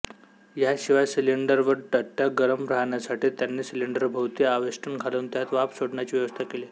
याशिवाय सिलिंडर व दट्ट्या गरम राहण्यासाठी त्यांनी सिलिंडराभोवती आवेष्टन घालून त्यात वाफ सोडण्याची व्यवस्था केली